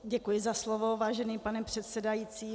Děkuji za slovo, vážený pane předsedající.